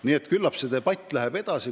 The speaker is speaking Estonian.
Nii et küllap see debatt läheb edasi.